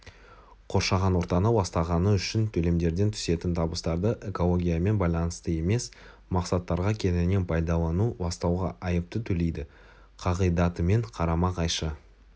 қоршаған ортаны ластағаны үшін төлемдерден түсетін табыстарды экологиямен байланысты емес мақсаттарға кеңінен пайдалану ластауға айыпты төлейді қағидатымен қарама-қайшы